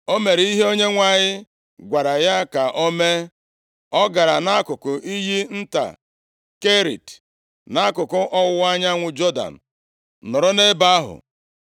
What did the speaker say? O mere ihe Onyenwe anyị gwara ya ka o mee. Ọ gara nʼakụkụ iyi nta Kerit nʼakụkụ ọwụwa anyanwụ Jọdan nọrọ nʼebe ahụ.